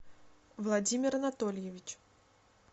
владимир анатольевич